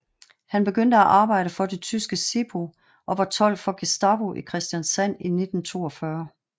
Han begyndte at arbejde for det tyske SIPO og var tolk for Gestapo i Kristiansand i 1942